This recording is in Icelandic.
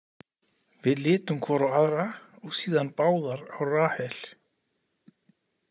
Við litum hvor á aðra og síðan báðar á Rahel.